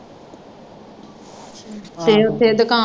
ਫੇਰ ਫੇਰ ਦੁਕਾਨ